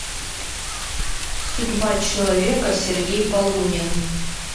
судьба человека сергей полунин